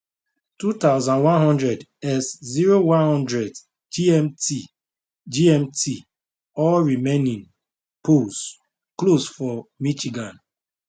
2100 est 0100 gmt gmt all remaining polls close for michigan